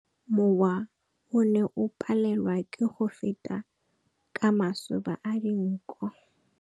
Mowa o ne o palelwa ke go feta ka masoba a dinko.